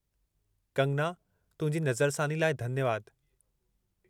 कंगना, तुंहिंजी नज़रसानी लाइ धन्यवादु।